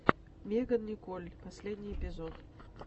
меган николь последний эпизод